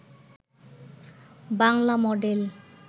Bangla model